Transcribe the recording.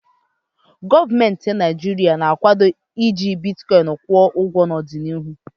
Gọọmentị Naịjirịa ga-akwado iji bitkọịn kwụ ụgwo n'ọdịnịhu.